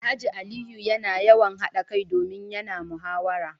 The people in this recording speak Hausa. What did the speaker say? Alhaji Aliyu yana yawan hada kai domin yana muhawara